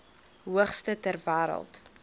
hoogste ter wêreld